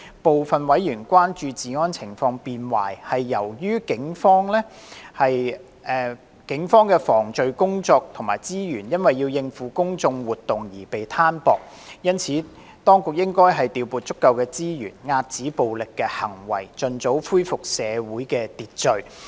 部分委員關注治安情況變壞，是由於警方的防罪工作及資源因要應付公眾活動而被攤薄。因此，當局應調撥足夠資源，遏止暴力行為，盡早恢復社會秩序。